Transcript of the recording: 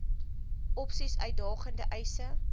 opsies uitdagende eise